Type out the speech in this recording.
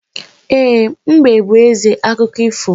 E, mbe bú ézè akụkọ ifo